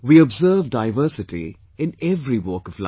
We observe diversity in every walk of life